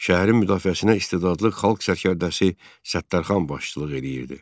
Şəhərin müdafiəsinə istedadlı xalq sərkərdəsi Səttarxan başçılıq eləyirdi.